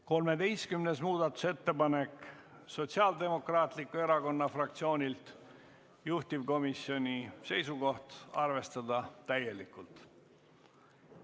13. muudatusettepanek on Sotsiaaldemokraatliku Erakonna fraktsioonilt, juhtivkomisjoni seisukoht on arvestada seda täielikult.